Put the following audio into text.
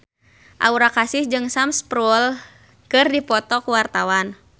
Aura Kasih jeung Sam Spruell keur dipoto ku wartawan